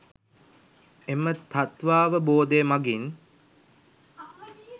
එම තත්ත්වාවබෝධය මගින්